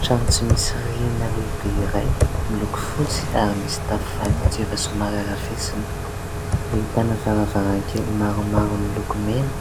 Trano tsy misy rihana lehibe iray, miloko fotsy ary misy tafo fanitso efa somary arafesina. Ahitana varavarankely maromaro miloko mena.